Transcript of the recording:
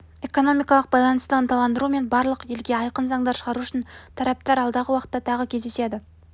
экономикалық байланысты ынталандыру мен барлық елге айқын заңдар шығару үшін тараптар алдағы уақытта тағы кездеседі